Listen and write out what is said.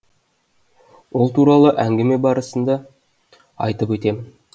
ол туралы әңгіме барысында айтып